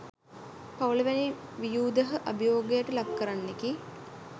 පවුල වැනි ව්යූධහ අභියෝගයට ලක්කරන්නකි.